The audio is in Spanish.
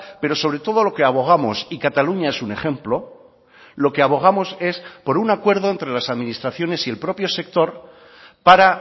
pero sobre todo lo que abogamos y cataluña es un ejemplo lo que abogamos es por un acuerdo entre las administraciones y el propio sector para